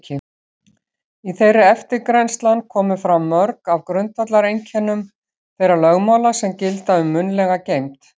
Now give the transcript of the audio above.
Í þeirri eftirgrennslan komu fram mörg af grundvallareinkennum þeirra lögmála sem gilda um munnlega geymd.